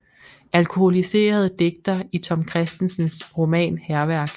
Alkoholiseret digter i Tom Kristensens roman Hærværk